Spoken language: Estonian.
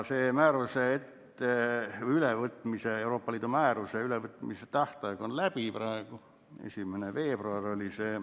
See Euroopa Liidu määruse ülevõtmise tähtaeg on möödas, see oli 1. veebruaril.